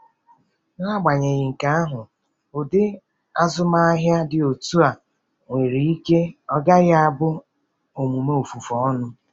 N’agbanyeghị nke ahụ, ụdị azụmahịa dị otu a nwere ike ọ gaghị abụ omume ofufe ọnụ.